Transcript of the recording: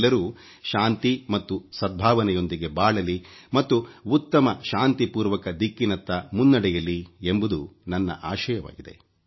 ಎಲ್ಲರೂ ಶಾಂತಿ ಮತ್ತು ಸದ್ಭಾವನೆಯೊಂದಿಗೆ ಬಾಳಲಿ ಮತ್ತು ಉತ್ತಮ ಶಾಂತಿಪೂರ್ವಕ ದಿಕ್ಕಿನತ್ತ ಮುನ್ನಡೆಯಲಿ ಎಂಬುದು ನನ್ನ ಆಶಯವಾಗಿದೆ